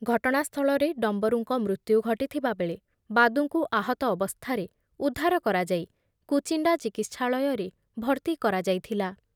ଘଟଣାସ୍ଥଳରେ ଡମ୍ବରୁଙ୍କ ମୃତ୍ୟୁ ଘଟିଥିବାବେଳେ ବାଦୁଙ୍କୁ ଆହତ ଅବସ୍ଥାରେ ଉଦ୍ଧାର କରାଯାଇ କୁଚିଣ୍ଡା ଚିକିତ୍ସାଳୟରେ ଭର୍ତ୍ତି କରାଯାଇଥିଲା ।